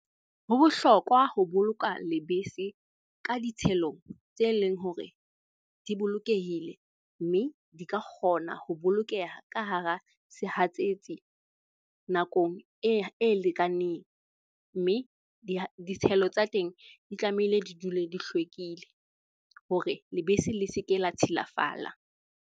Ho bohlokwa ho boloka lebese ka ditshelo tse leng hore di bolokehile mme di ka kgona ho bolokeha ka hara sehatsetsi nakong e lekaneng. Mme ditshelo tsa teng di tlamehile di dule di hlwekile hore lebese le se ke la tshilafala.